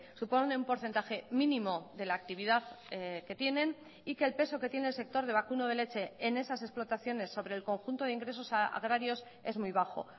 supone un porcentaje mínimo de la actividad que tienen y que el peso que tiene el sector de vacuno de leche en esas explotaciones sobre el conjunto de ingresos agrarios es muy bajo